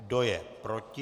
Kdo je proti?